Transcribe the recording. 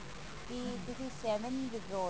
ਕਿ ਤੁਸੀਂ seven withdraw